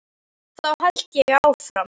Þá held ég áfram.